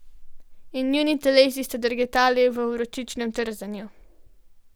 In njuni telesi sta drgetali v vročičnem trzanju.